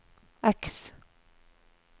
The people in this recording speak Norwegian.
X